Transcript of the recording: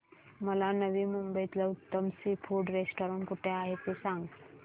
मला नवी मुंबईतलं उत्तम सी फूड रेस्टोरंट कुठे आहे ते सांग